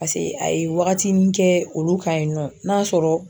Pase a ye wagatini olu kan kɛ olu kan yen nɔ n'a sɔrɔ